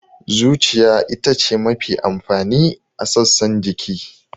Zuciya ita ce mafi amfani a sassan jiki.